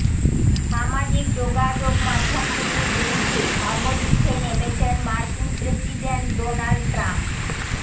সামাজিক যোগাযোগমাধ্যমগুলির বিরুদ্ধে ধর্মযুদ্ধে নেমেছেন মার্কিন প্রেসিডেন্ট ডোনাল্ড ট্রাম্প